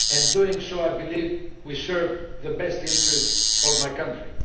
In doing so, I believe we have served the best interests of my country.